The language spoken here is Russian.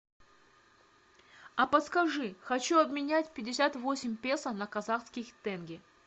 а подскажи хочу обменять пятьдесят восемь песо на казахских тенге